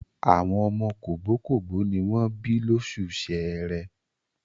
Àwọn ọmọ kògbókògbó ní wọ́n bí lóṣù Ṣẹẹrẹ.